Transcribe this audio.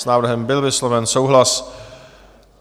S návrhem byl vysloven souhlas.